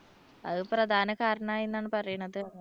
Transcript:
അത് പ്രധാന കാരണമായി എന്നാണ് പറയുന്നത്.